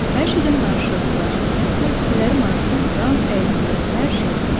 Hər şeydən danışırdılar, parisliləri maraqlandıran, əyləndirən hər şeydən.